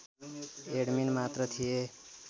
admin मात्र थिए